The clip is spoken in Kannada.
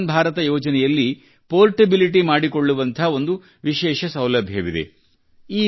ಆಯುಷ್ಮಾನ್ ಭಾರತ ಯೋಜನೆಯಲ್ಲಿ ಪೆÇೀರ್ಟೆಬಿಲಿಟಿ ಮಾಡಿಕೊಳ್ಳುವಂಥ ಒಂದು ವಿಶೇಷ ಸೌಲಭ್ಯವಿದೆ